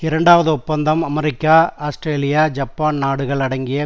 இரண்டாவது ஒப்பந்தம் அமெரிக்காஆஸ்திரேலியாஜப்பான் நாடுகள் அடங்கிய